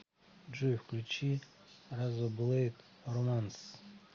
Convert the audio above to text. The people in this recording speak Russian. джой включи разоблэйд романс